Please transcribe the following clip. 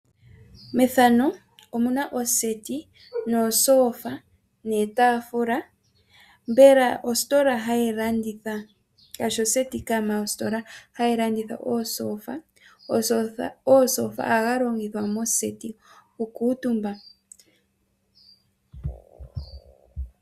Methano omuna oseti nomashofa niitafula mbela ositola hayi landitha omashofa. Omashofa ohaga longithwa moseti oku kuutumbwa.